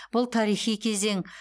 бұл тарихи кезең